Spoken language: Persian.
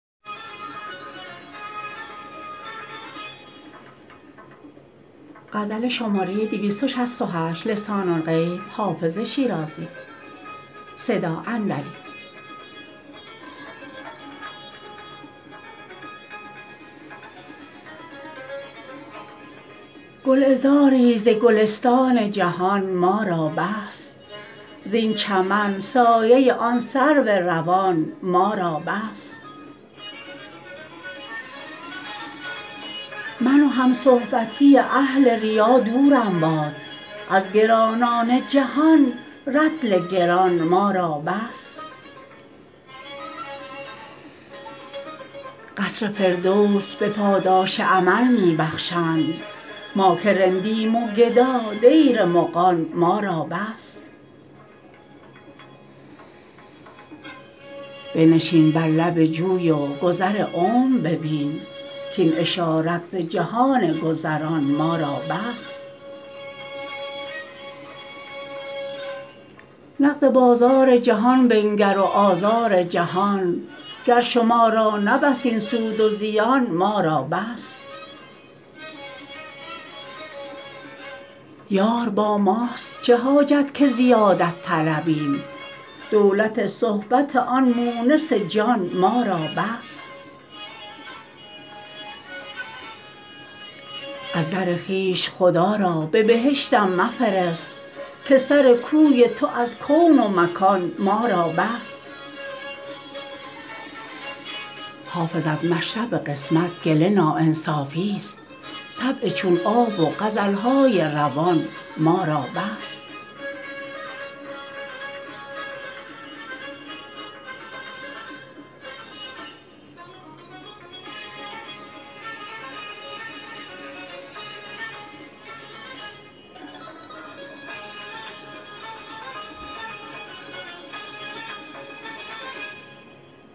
گلعذاری ز گلستان جهان ما را بس زین چمن سایه آن سرو روان ما را بس من و همصحبتی اهل ریا دورم باد از گرانان جهان رطل گران ما را بس قصر فردوس به پاداش عمل می بخشند ما که رندیم و گدا دیر مغان ما را بس بنشین بر لب جوی و گذر عمر ببین کاین اشارت ز جهان گذران ما را بس نقد بازار جهان بنگر و آزار جهان گر شما را نه بس این سود و زیان ما را بس یار با ماست چه حاجت که زیادت طلبیم دولت صحبت آن مونس جان ما را بس از در خویش خدا را به بهشتم مفرست که سر کوی تو از کون و مکان ما را بس حافظ از مشرب قسمت گله ناانصافیست طبع چون آب و غزل های روان ما را بس